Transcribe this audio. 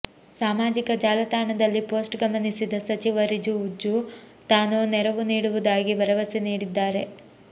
ಸಾಮಾಜಿಕ ಜಾಲತಾಣದಲ್ಲಿ ಪೋಸ್ಟ್ ಗಮನಿಸಿದ ಸಚಿವ ರಿಜಿಜು ತಾನು ನೆರವು ನೀಡುವುದಾಗಿ ಭರವಸೆ ನೀಡಿದ್ದಾರೆ